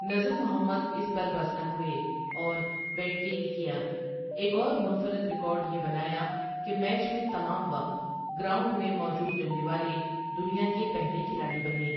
نزر محمد اس پر بس نہ ہوئے اور بیٹ کیری کیا ایک اور منفرد ریکارڈ یہ بنایا کہ میچ میں تمام وقت گرانڈ میں موجود رہنے والے دنیا کے پہلے کھلاڑی بنے۔